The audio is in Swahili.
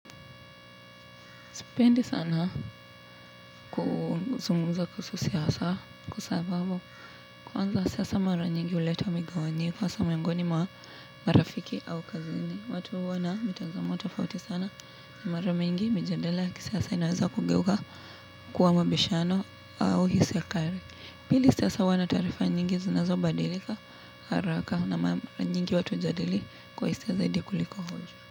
Sipendi sana kuzungumza kuhusu siasa kwa sababu kuanza siasa mara nyingi huleta wa migawanyiko hasa miongoni mwa rafiki au kazini. Watu huwa na mitazamo tafauti sana na mara mingi mijadala ya kisiasa inaweza kugeuka kuwa mabishano au hisia kali. Pili siasa huwa na taarifa nyingi zinazo badilika haraka na mara nyingi watu hujadili kwa hisia zaidi kuliko hoja.